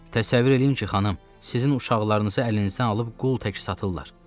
Təsəvvür eləyin ki, xanım, sizin uşaqlarınızı əlinizdən alıb qul təki satırlar.